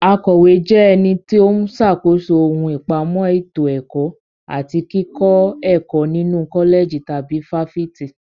Akọ̀wé jẹ́ ẹni tó ń ṣàkóso ohun ìpamọ́ ètò ẹ̀kọ́ àti kíkọ́ ẹ̀kọ́ nínu kọ́lẹ̀jì tàbí fáfitì.